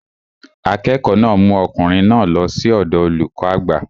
Akẹ́kọ̀ọ́ náà mú ọkùnrin náà lọ sí ọ̀dọọ olùkọ́ àgbà